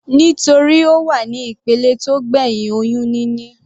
Nítorí Ó wà ní ìpele tó gbẹ̀hìn oyún níní.